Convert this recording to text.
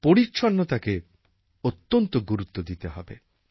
পরিচ্ছন্নতাকে অত্যন্ত গুরুত্ব দিতে হবে